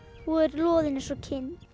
og er loðinn eins og kind